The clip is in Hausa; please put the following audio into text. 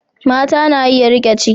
Mata na iya riƙe ciki.